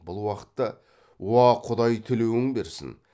бұл уақытта уа құдай тілеуің берсін